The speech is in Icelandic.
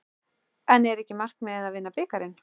En er ekki markmiðið að vinna bikarinn?